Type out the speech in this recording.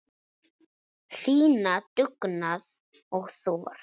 Sýna dugnað og þor.